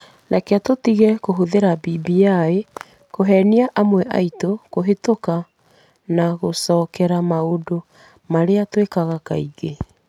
Rekei tũtige kũhũthĩra BBI kũhenia amwe aitũ kũhĩtũka na gũcokerera maũndũ marĩa twĩkaga kaingĩ.